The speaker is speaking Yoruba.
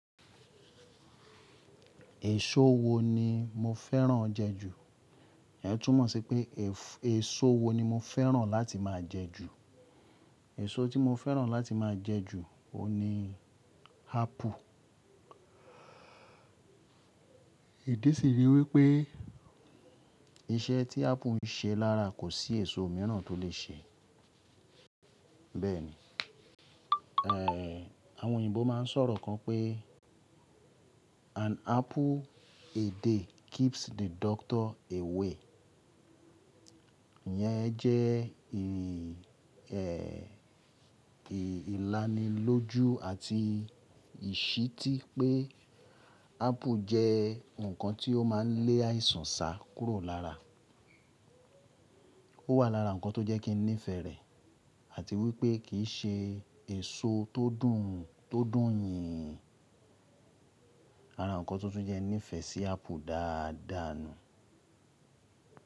Èso wo ni mo fẹ́ràn jẹ ju? Ìyẹn túmọ̀ sí pé, èso wo ni mo fẹ́ràn láti máa jẹ ju? Èso tí mo fẹ́ràn láti máa jẹ ju, òun ni ápù. Ìdí sì rí wípé iṣẹ́ tí ápù ń ṣe lára kò sí èso míràn tó lè ṣe. Bẹ́ẹ̀ni, àwọn òyìnbó máa ń sọ̀rọ̀ kan pé “An apple a day keeps the doctor away.” Ìyẹn jẹ́ ìlanilójú àti ìṣítí pé ápù jẹ́ nǹkan tí ó máa ń lé àìsàn sá kúrò lára. Ó wà lára nǹkan tó jẹ́ kí n nífẹ̀ẹ́ rẹ̀ àti wípé kìí ṣe èso tó dùn tó dùn yẹn, ara nǹkan tó tún jẹ ní ìfẹ́ sí ápù dáadáa nu.